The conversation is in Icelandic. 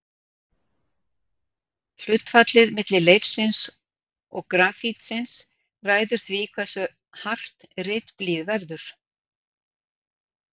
Hlutfallið milli leirsins og grafítsins ræður því hversu hart ritblýið verður.